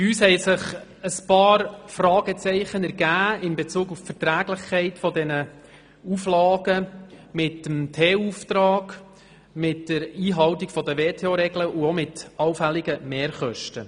Bei uns ergaben sich ein paar Fragezeichen bezüglich der Verträglichkeit dieser Auflagen mit dem TUAuftrag, der Einhaltung der WTO-Regeln und auch mit allfälligen Mehrkosten.